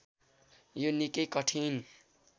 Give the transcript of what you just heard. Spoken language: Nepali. यो निकै कठिन